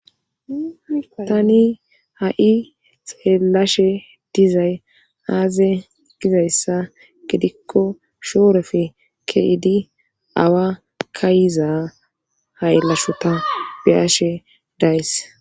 tani ha7i xelashe dizay aaze gizayssa gedikko shoorefe keidi awa kayiza haylashota biyashe days